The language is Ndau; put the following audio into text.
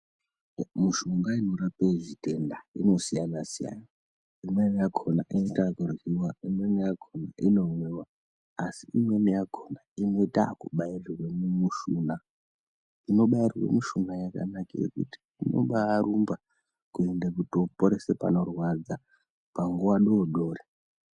Mishonga inorapa zvitenda inosiyanasiyana imweni yakona inoita kuryiwa ,imweni yakona inomwiwa, asi imweni yakona inotakubairirwe mumushuna, inobairwe mumushuna yakanakire kuti inobarumba kuende kutooporese panorwadza panguwa dodori.